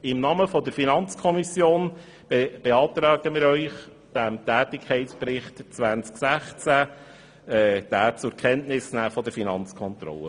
Im Namen der FiKo beantrage ich Ihnen, den Tätigkeitsbericht 2016 zur Kenntnis zu nehmen.